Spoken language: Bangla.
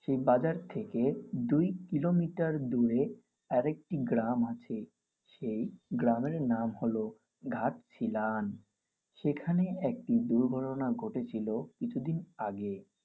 সেই বাজার থেকে দুই কিলোমিটার দূরে আরেকটি গ্রাম আছে. সেই গ্রামের নাম হল ঘাটশিলান। সেখানে একটি দুর্ঘটনা ঘটেছিল কিছুদিন আগেই।